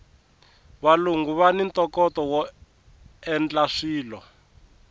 valungu vani ntokoto woendla swilo